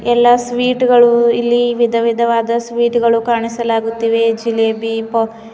ಎಲ್ಲಾ ಸ್ವೀಟ್ಗ ಳು ಇಲ್ಲಿ ವಿಧವಿಧವಾದ ಸ್ವೀಟ್ಗ ಳು ಕಾಣಿಸಲಾಗುತ್ತಿದೆ ಜಿಲೇಬಿ ಪೋ--